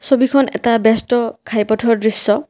ছবিখন এটা ব্যস্ত ঘাইপথৰ দৃশ্য।